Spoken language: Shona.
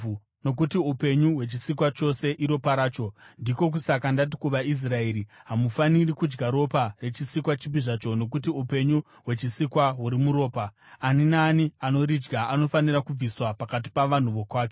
nokuti upenyu hwechisikwa chose iropa racho. Ndiko kusaka ndati kuvaIsraeri, “Hamufaniri kudya ropa rechisikwa chipi zvacho nokuti upenyu hwechisikwa huri muropa; ani naani anoridya anofanira kubviswa pakati pavanhu vokwake.”